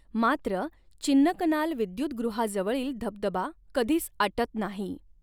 मात्र, चिन्नकनाल विदयुतगृहाजवळील धबधबा कधीच आटत नाही.